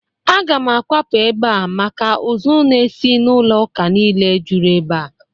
Aga m akwapụ ebe a maka ụzụ n'esi n'ụlọ ụka niile jụrụ ebe a.